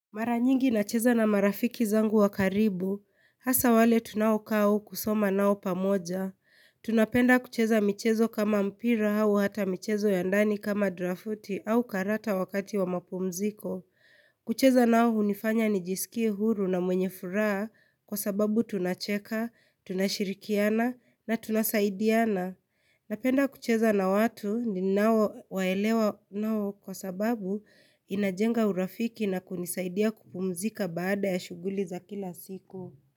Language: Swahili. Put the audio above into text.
Maranyingi na cheza na marafiki zangu wakaribu, hasa wale tunaokau kusoma nao pamoja. Tunapenda kucheza michezo kama mpira au hata michezo yandani kama drafuti au karata wakati wa mapumziko. Kucheza nao unifanya nijisiki huru na mwenye furaha kwa sababu tunacheka, tunashirikiana na tunasaidiana. Napenda kucheza na watu ni nao waelewa nao kwa sababu inajenga urafiki na kunisaidia kupumzika baada ya shughuli za kila siku.